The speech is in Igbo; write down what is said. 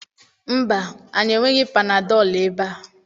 Mba, anyị enweghị panadọl ebe a.